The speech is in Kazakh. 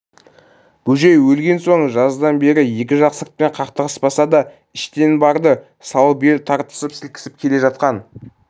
бөжей өлген соң жаздан бері екі жақ сыртпен қақтығыспаса да іштен барды салып ел тартысып сілкісіп келе жатқан